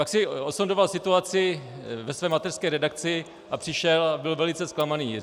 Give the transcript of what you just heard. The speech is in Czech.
Pak si osondoval situaci ve své mateřské redakci a přišel a byl velice zklamaný.